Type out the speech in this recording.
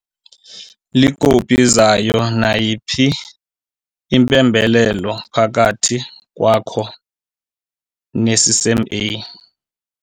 Iikopi zayo nayiphi imbalelwano phakathi kwakho neCCMA.